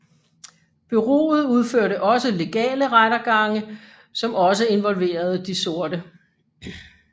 Bureauet udførte også legale rettergange som også involverede de sorte